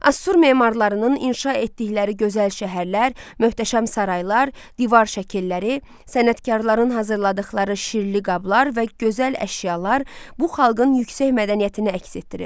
Asur memarlarının inşa etdikləri gözəl şəhərlər, möhtəşəm saraylar, divar şəkilləri, sənətkarların hazırladıqları şirli qablar və gözəl əşyalar bu xalqın yüksək mədəniyyətini əks etdirir.